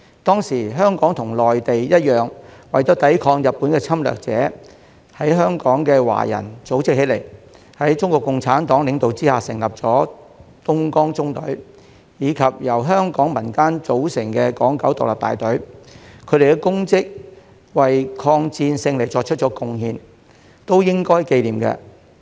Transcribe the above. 當時，香港和內地一樣，為了抵抗日本的侵略者，在香港的華人組織起來，在中國共產黨領導下成立東江縱隊，以及由香港民間組成的港九獨立大隊，他們的功績、為抗戰勝利作出貢獻，都應該記念。